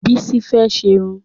Bísí fẹ́ ṣerun